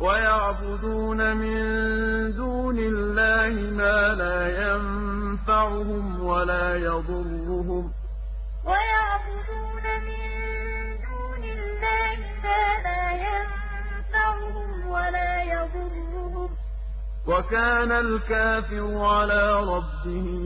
وَيَعْبُدُونَ مِن دُونِ اللَّهِ مَا لَا يَنفَعُهُمْ وَلَا يَضُرُّهُمْ ۗ وَكَانَ الْكَافِرُ عَلَىٰ رَبِّهِ ظَهِيرًا وَيَعْبُدُونَ مِن دُونِ اللَّهِ مَا لَا يَنفَعُهُمْ وَلَا يَضُرُّهُمْ ۗ وَكَانَ الْكَافِرُ عَلَىٰ رَبِّهِ